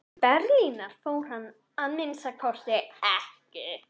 Til Berlínar fór hann að minnsta kosti ekki.